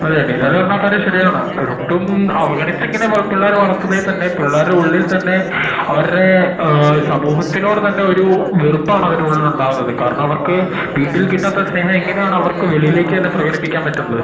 അതെ ബിലാല് പറഞ്ഞ ആഹാ കാര്യം ശെരിയാണ് ഒട്ടും അവഗണിച്ചു ഇങ്ങനെ വ പിള്ളേരെ വളർത്തുന്നെ തന്നെ പിള്ളേരുടെ ഉള്ളിൽ തന്നെ അവാർഡ് എ സമൂഹത്തിനോട് തന്നെ വെറുപ്പാണ് അവരുടെ ഉള്ളിൽ ഉണ്ടാവുന്നത് കാരണം വീട്ടിൽ കിട്ടാത്ത സ്നേഹം അവർക്ക് എങ്ങനെ ആണ് വെളിലേക്ക് തന്നെ പ്രേകടിപ്പിക്കാൻ പറ്റണത്